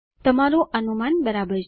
તમારૂ અનુમાન બરાબર છે